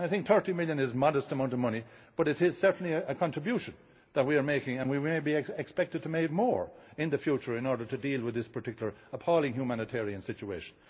that. EUR 30 million is a modest amount of money, but it is certainly a contribution that we are making and we may be expected to make more in the future in order to deal with this particularly appalling humanitarian situation.